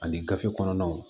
Ani gafe kɔnɔnaw